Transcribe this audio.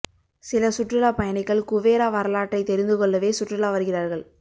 சில சுற்றுலா பயணிகள் குவேரா வரலாற்றைத் தெரிந்து கொள்ளவே சுற்றுலா வருகிறார்கள்